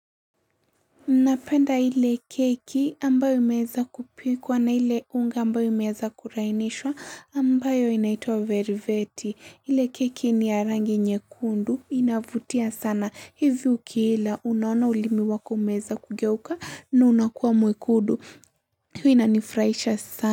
Napenda ile keki ambayo imeweza kupikwa na ile unga ambayo imeweza kulainishwa ambayo inaitwa veriveti. Ile keki ni ya rangi nyekundu. Inavutia sana hivyo ukiila. Unaona ulimi wako umeweza kugeuka na unakuwa mwekundu. Huu inanifurahisha sana.